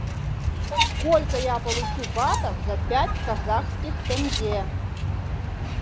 сколько я получу батов за пять казахских тенге